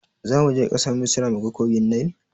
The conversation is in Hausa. Zamuje ƙasar misra muga kogin nil?